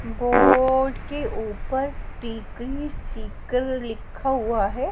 Board के ऊपर टीकरी सीकल लिखा हुआ है।